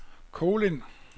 Kolind